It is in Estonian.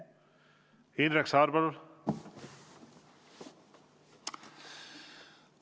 Indrek Saar, palun!